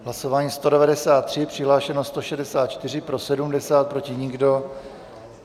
Hlasování 193, přihlášeno 164, pro 70, proti nikdo.